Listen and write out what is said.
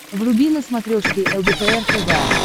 вруби на смотрешке лдпр тв